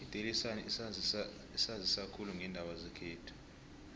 idaily sun isanzisa khulu ngeendaba zekhethu